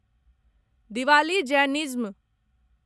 Diwali Jainism